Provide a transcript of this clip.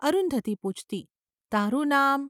’ અરુંધતી પૂછતી. ‘તારું નામ.